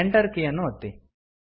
Enter ಕೀಯನ್ನು ಒತ್ತಿ